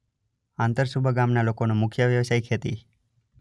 આંતરસુંબા ગામના લોકોનો મુખ્ય વ્યવસાય ખેતી